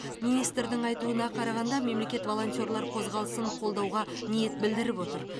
министрдің айтуына қарағанда мемлекет волонтерлар қозғалысын қолдауға ниет білдіріп отыр